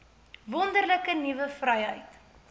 wonderlike nuwe vryheid